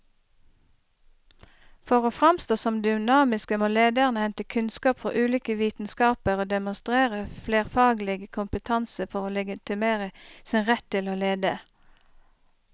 For å framstå som dynamiske må lederne hente kunnskap fra ulike vitenskaper og demonstrere flerfaglig kompetanse for å legitimere sin rett til å lede.